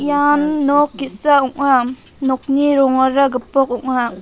ian nok ge·sa ong·a nokni rongara gipok ong·a.